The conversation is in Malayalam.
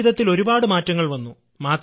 ജീവിതത്തിൽ ഒരുപാട് മാറ്റങ്ങൾ വന്നു